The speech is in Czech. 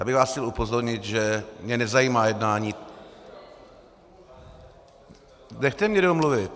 Já bych vás chtěl upozornit, že mě nezajímá jednání - Nechte mě domluvit.